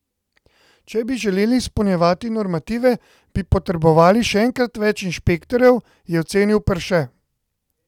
Če bi želeli izpolnjevati normative, bi potrebovali še enkrat več inšpektorjev, je ocenil Perše.